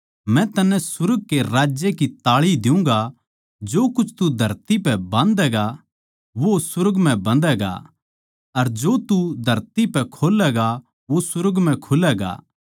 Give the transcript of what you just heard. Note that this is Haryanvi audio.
मै तन्नै सुर्ग के राज्य की ताळी दियुँगा जो कुछ तू धरती पै बंधैगा वो सुर्ग म्ह बंधैगा अर जो तू धरती पै खोलैगा वो सुर्ग म्ह खुलैगा